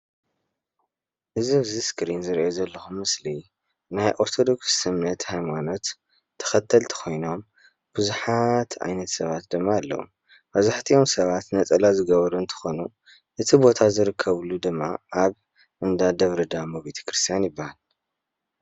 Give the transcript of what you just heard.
እዚ ኣብዚ እስክሪን ዝሪኦ ዘለኩ ምስሊ ናይ ኦርተድክስ እምነት ሃይማኖት ተከተልቲ ኮይኖም ብዙሓት ዓይነት ሰባት ድማ ኣለዉ መብዛሕቲኦም ሰባት ነፀላ ዝገበሩ እንትኮኑ እቲ ቦታ ዝርከብሉ ድማ ኣብ እንዳ ደብረ ዳሞ ቤተክርስያን ይበሃል።